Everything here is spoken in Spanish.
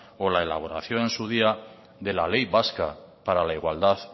o la elaboración en su día de la ley vasca para la igualdad